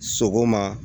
Sogoma